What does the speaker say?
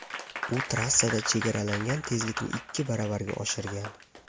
U trassada chegaralangan tezlikni ikki baravarga oshirgan.